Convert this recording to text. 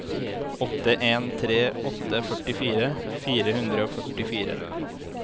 åtte en tre åtte førtifire fire hundre og førtifire